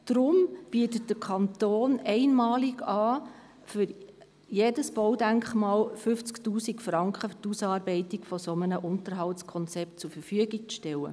Deshalb bietet der Kanton einmalig an, für jedes Baudenkmal 50 000 Franken für die Ausarbeitung eines solchen Unterhaltskonzepts zur Verfügung zu stellen.